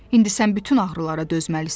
İndi sən bütün ağrılara dözməlisən.